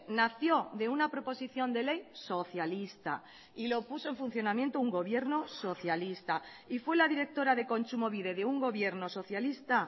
nació de una proposición de ley socialista y lo puso en funcionamiento un gobierno socialista y fue la directora de kontsumobide de un gobierno socialista